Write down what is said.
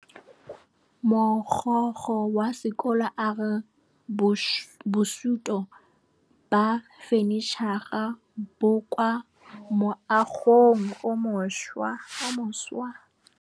Mogokgo wa sekolo a re bosutô ba fanitšhara bo kwa moagong o mošwa.